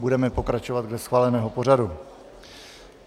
Budeme pokračovat dle schváleného pořadu.